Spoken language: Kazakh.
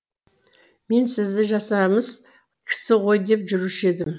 мен сізді жасамыс кісі ғой деп жүруші едім